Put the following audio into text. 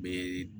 Be